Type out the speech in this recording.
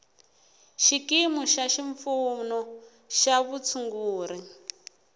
xikimu xa xipfuno xa vutshunguri